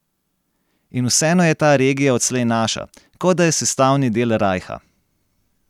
In vseeno je ta regija odslej naša, kot da je sestavni del rajha.